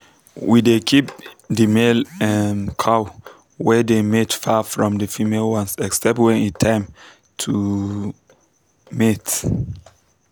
we dey keep the male um cow wey dey mate far from the female ones except when e time to um mate.